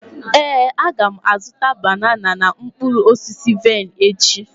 Éè, aga m azụta banana na mkpụrụ osisi vaịn echi